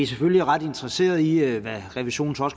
selvfølgelig ret interesseret i hvad revisionen så